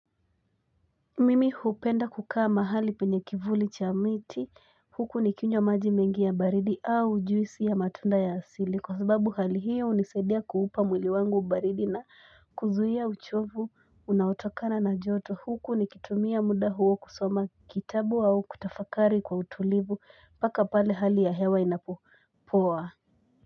Mimi hupenda kukaa mahali penye kivuli cha miti huku ni kinywa maji mengi ya baridi au juisi ya matunda ya asili kwa sababu hali hiyo unisadia kuupa mwili wangu baridi na kuzuia uchovu unaotokana na joto huku ni kitumia muda huo kusoma kitabu au kutafakari kwa utulivu mpaka pale hali ya hewa inapopoa.